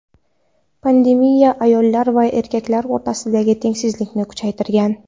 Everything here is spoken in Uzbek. Pandemiya ayollar va erkaklar o‘rtasidagi tengsizlikni kuchaytirgan.